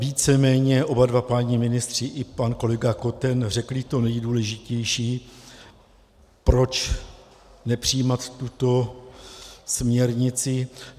Víceméně oba dva páni ministři i pan kolega Koten řekli to nejdůležitější, proč nepřijímat tuto směrnici.